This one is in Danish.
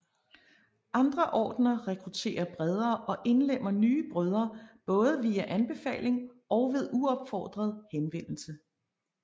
Andre ordener rekrutterer bredere og indlemmer nye brødre både via anbefaling og ved uopfordret henvendelse